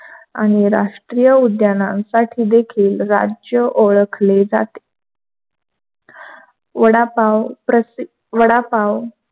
आणि राष्ट्रीय उद्यानासाठी देखील राज्य ओळखले जाते. वडापाव, प्रसि वडापाव